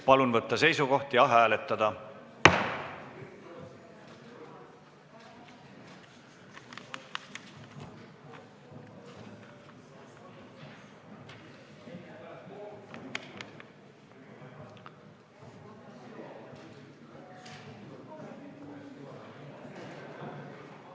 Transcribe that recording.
Palun võtta seisukoht ja hääletada!